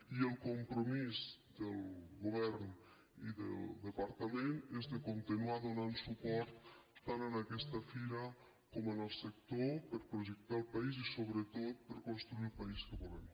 i el compromís del govern i del departament és de continuar donant suport tant a aquesta fira com al sector per projectar el país i sobretot per construir el país que volem